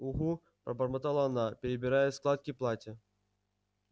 угу пробормотала она перебирая складки платья